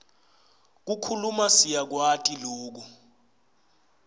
kukhuluma siyakwati loku